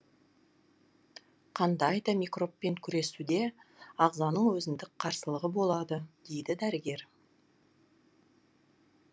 қандай да микробпен күресуде ағзаның өзіндік қарсылығы болады дейді дәрігер